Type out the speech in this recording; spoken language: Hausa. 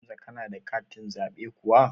Hamza kana da katin zaɓe kuwa?